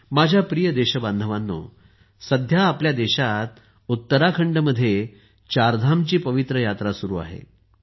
माझ्या प्रिय देशबांधवांनो सध्या आपल्या देशात उत्तराखंडमध्ये चारधामची पवित्र यात्रा सुरू आहे